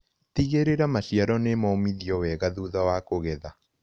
Tigĩrĩra maciaro nĩmomithĩtio wega thutha wa kũgetha.